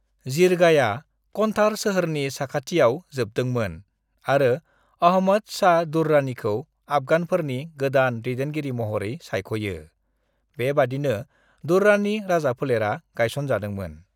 "जिरगाया कन्धार सोहोरनि साखाथियाव जोबदोंमोन आरो अहमद शाह दुर्रानीखौ आफगानफोरनि गोदान दैदेनगिरि महरै सायख'यो, बेबादिनो दुर्रानि राजाफोलेरा गायसनजादोंमोन।"